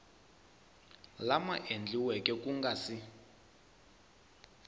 lama endliweke ku nga si